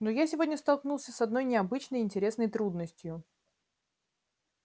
но я сегодня столкнулся с одной необычной и интересной трудностью